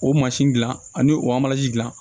O mansin dilan ani o dilan